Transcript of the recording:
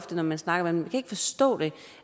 når man snakker med dem